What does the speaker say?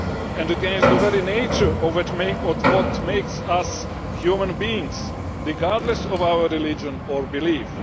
and against the very nature of what makes us human beings, regardless of our religion or belief.